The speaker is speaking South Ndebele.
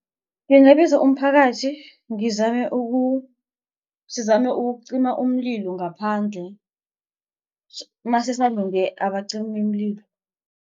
Ngingabiza umphakathi ngizame sizame ukucima umlilo ngaphandle masisalinde abacimimlilo.